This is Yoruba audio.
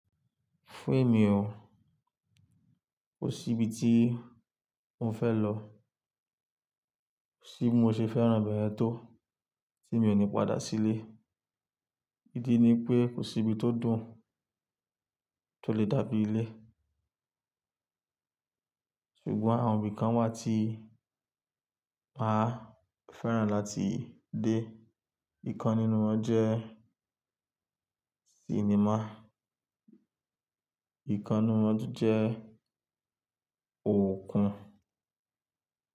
Fún èmi o, kò sí ibi tí mo fẹ́ lọ. Ti mo ṣe fẹ́ràn bẹ̀ yẹ̀n tó tí mi ò ní padà sílé. Ìdí ni pé kò sí ibi tó dùn tó lè dàbí ile Ṣùgbọ́n àwọn ibi kan wà tí màá fẹ́ràn láti dé. Ìkan nínú wọn jẹ́ sinimá, ìkan nínú wọn jẹ́ òkun.